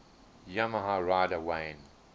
yamaha rider wayne